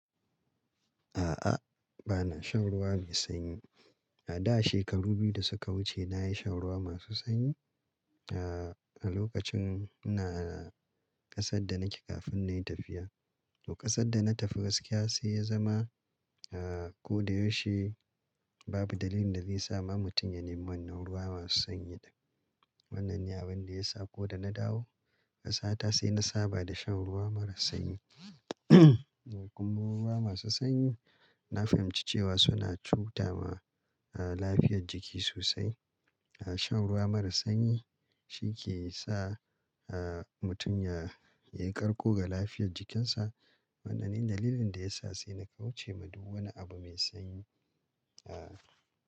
A'a, ba na shan ruwa mai sanyi. A da shekaru biyu da suka wuce na yi shan ruwa masu sanyi, a lokacin ina ƙasar da nake kafin na yi tafiya. To ƙasar da na tafi gaskiya sai ya zama, ko da yaushe babu dalilin da zai sa ma mutum ya nemi wannan ruwa masu sanyi din. Wannan ne abin da ya sa ko da na dawo ƙasa ta sai na saba da shan ruwa mara sanyi. Kuma ruwa masu sanyi na fahimci cewa suna cuta ma lafiyar jiki sosai. Shan ruwa mara sanyi shi ke sa mutum ya, ya yi karko ga lafiyar jikinsa. Wannan ne dalilin da ya sa sai na kauce ma duk wani abu mai sanyi, a.